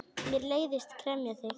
Mér leiðist gremja þín.